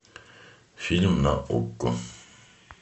фильм на окко